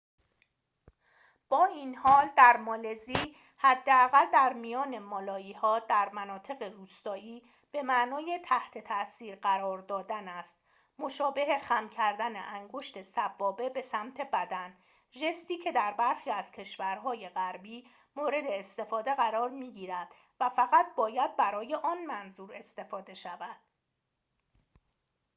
با این حال در مالزی حداقل در میان مالایی‌ها در مناطق روستایی به معنای تحت تاثیر قرار دادن است مشابه خم کردن انگشت سبابه به سمت بدن ژستی که در برخی از کشورهای غربی مورد استفاده قرار می‌گیرد و فقط باید برای آن منظور استفاده شود